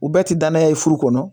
U bɛɛ tɛ danaya ye furu kɔnɔ